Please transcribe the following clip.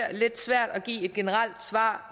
lidt svært at give et generelt svar